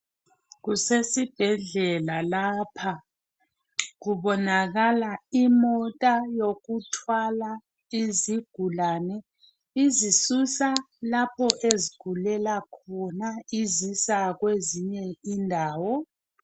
Kusesibhedlela lapha kubonakala imota yokuthwala yezigulane izisusa lapha ezigulela khona izisa kwezinye indawo.